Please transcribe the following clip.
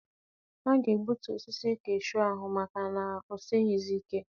A ga-egbutu osisi kashuu ahụ maka na o sighịzi ike.